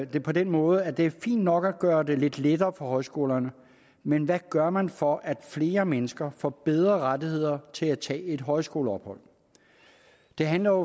det på den måde at det er fint nok at gøre det lidt lettere for højskolerne men hvad gør man for at flere mennesker får bedre rettigheder til at tage et højskoleophold det handler